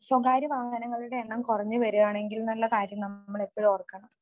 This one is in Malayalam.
സ്വകാര്യ വാഹനങ്ങളുടെ എണ്ണം കുറഞ്ഞു വരികാണെങ്കിൽന്നുള്ള കാര്യം നമ്മളെപ്പഴും ഓർക്കണം.